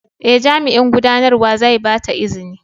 Ee, Jami'in Gudanarwa zai ba ta izini.